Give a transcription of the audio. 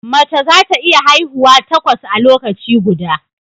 Mace za ta iya haihuwa takwas a lokaci guda